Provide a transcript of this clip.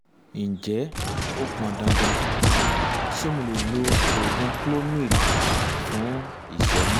ǹjẹ́ ó pọn dandan? ṣé mo lè lo um oògùn clomid um fún um ìṣẹ́yún?